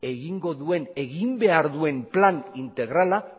egin behar duen plan integrala